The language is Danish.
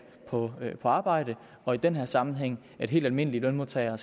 på arbejde og i den her sammenhæng at helt almindelige lønmodtagere